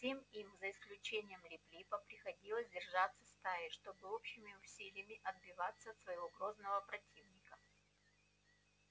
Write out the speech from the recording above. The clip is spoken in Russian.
всем им за исключением лип липа приходилось держаться стаей чтобы общими усилиями отбиваться от своего грозного противника